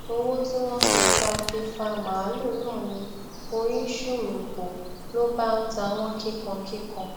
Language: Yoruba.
owó tí wọn fi fa fi fa màálùú náà ni oyin ṣùrù bò ló bá ń ta wọn kíkan kíkan